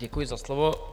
Děkuji za slovo.